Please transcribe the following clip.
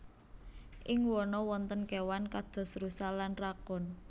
Ing wana wonten kéwan kados rusa lan rakun